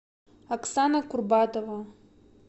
оксана курбатова